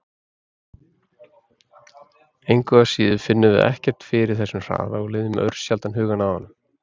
Engu að síður finnum við ekkert fyrir þessum hraða og leiðum örsjaldan hugann að honum!